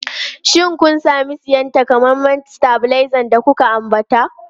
Shin kun sami siyan takamaiman stabilizer da na ambata?